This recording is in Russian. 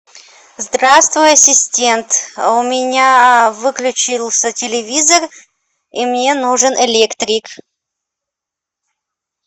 здравствуй ассистент у меня выключился телевизор и мне нужен электрик